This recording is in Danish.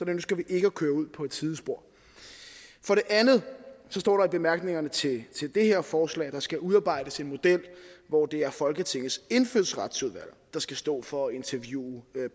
ønsker vi ikke at køre ud på et sidespor for det andet står der i bemærkningerne til det her forslag at der skal udarbejdes en model hvor det er folketingets indfødsretsudvalg der skal stå for at interviewe